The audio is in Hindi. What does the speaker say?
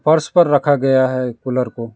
फर्श पर रखा गया है कूलर को।